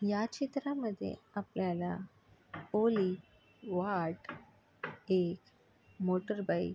या चित्रामध्ये आपल्याला पोलिस वार्ड एक मोटर बाइक --